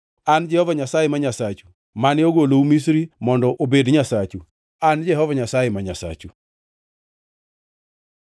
An e Jehova Nyasaye ma Nyasachu, mane ogolou Misri mondo obed Nyasachu. An Jehova Nyasaye ma Nyasachu.’ ”